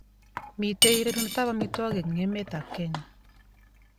Mitei rerunetab amitwogik eng emetab Kenya